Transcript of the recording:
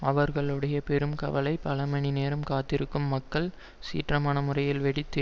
அவர்களுடைய பெரும் கவலை பல மணி நேரம் காத்திருக்கும் மக்கள் சீற்றமான முறையில் வெடித்து